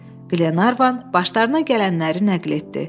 Qlenarvan başlarına gələnləri nəql etdi.